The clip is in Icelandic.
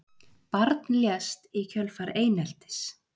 Barn lést í kjölfar eineltis